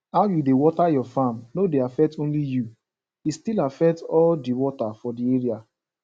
how you dey water your farm no dey affect only you e still affect all the water for the area